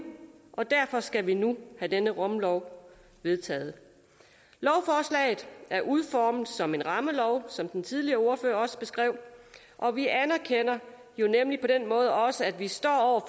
og derfor skal vi nu have denne rumlov vedtaget lovforslaget er udformet som en rammelov som den tidligere ordfører også beskrev og vi anerkender jo nemlig på den måde også at vi står